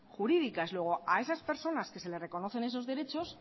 jurídicas luego a esas personas que se les reconocen esos derechos